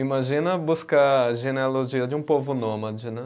Imagina buscar a genealogia de um povo nômade, né?